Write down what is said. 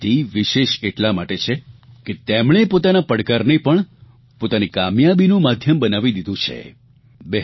તેમની આ સિદ્ધિ વિશેષ એટલા માટે છે કે તેમણે પોતાના પડકારને પણ પોતાની કામયાબીનું માધ્યમ બનાવી દીધું છે